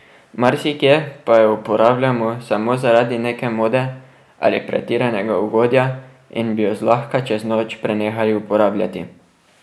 Marsikje pa jo uporabljamo samo zaradi neke mode ali pretiranega ugodja in bi jo zlahka čez noč prenehali uporabljati.